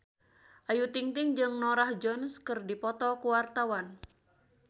Ayu Ting-ting jeung Norah Jones keur dipoto ku wartawan